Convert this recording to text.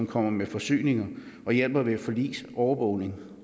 kommer med forsyninger og hjælper ved forlis overvågning